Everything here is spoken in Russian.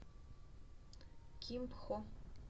кимпхо